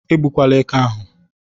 Egbukwala éké ahụ!